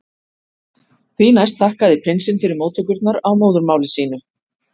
Því næst þakkaði prinsinn fyrir móttökurnar á móðurmáli sínu.